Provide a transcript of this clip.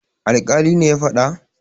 alkalin ne ya fada?